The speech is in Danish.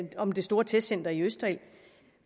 om det store testcenter i østerild